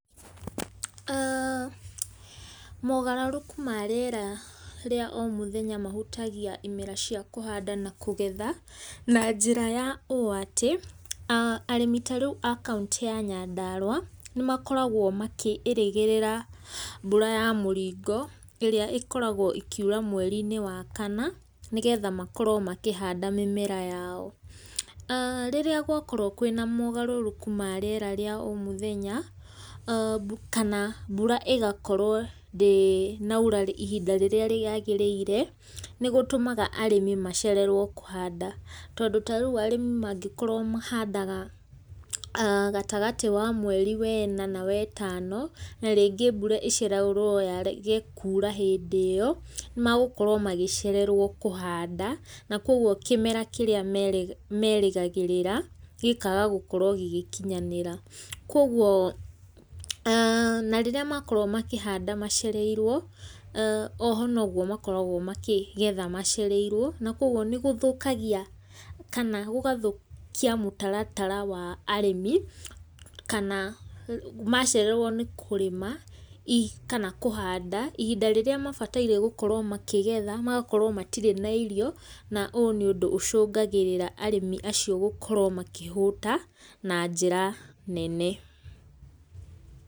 Mogarũrũku ma rĩera rĩa o mũthenya mahũtagia imera cia kũhanda na kũgetha, na njĩra ya ũũ atĩ, arĩmi tarĩu a kauntĩ ya Nyandarũa, nĩmakoragwo makĩĩrĩgĩrĩra mbura ya mũringo, ĩrĩa ĩkoragwo ĩkiura mwerĩ wa kana, nĩgetha makorwo makĩhanda mĩmera yao. Rĩrĩa gwakorwo kwĩna ũgarũrũku wa rĩera rĩa o mũthenya, kana mbura ĩgakorwo ndĩnaura ihinda rĩrĩa rĩagĩrĩire, nĩgũtũmaga arĩmi macererwo kũhanda. Tondũ rĩu arĩmi mangĩkorwo mahandaga gatagatĩ wa mwerĩ wena na wetano, na rĩngĩ mbura ĩcererwo yage kuura hĩndĩ ĩyo, nĩ magũkorwo magĩcererwo kũhanda, na koguo kĩmera kĩrĩa merĩgagĩrĩra, gĩkaga gukorwo gĩgĩkinyanĩra. Koguo, na rĩrĩa makorwo makĩhanda macereirwo, oho noguo makoragwo makĩgetha macereirwo, nakoguo nĩgũthũkagia kana gũgathũkia mũtaratara wa arĩmi, kana macererwo nĩ kũrĩma, kana kũhanda ihinda rĩrĩa mabatiĩ gũkorwo makĩgetha, magakorwo matirĩ na irio, na ũũ nĩ ũndũ ũcũngagĩrĩra arĩmi acio gũkorwo makĩhũta, na njĩra nene.